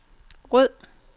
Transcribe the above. ryd